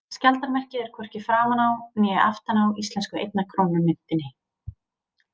Skjaldarmerkið er hvorki framan á né aftan á íslensku einnar krónu myntinni.